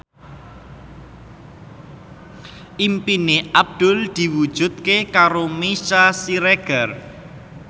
impine Abdul diwujudke karo Meisya Siregar